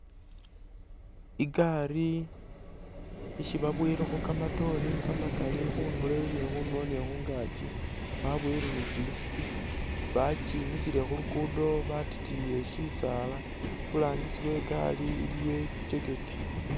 Igaari isi babowelekho kamatoore kamakali khundulo iye ni khundulo ni khungaki babowele bi kimisipi bakimisile khulugudo batikiyile sisaala iburangisi wegaari iliyo i'jacket